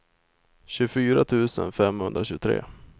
tjugofyra tusen femhundratjugotre